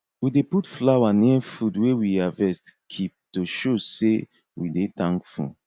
we dey put flower near food wey we harvest keep to show sey we dey thankful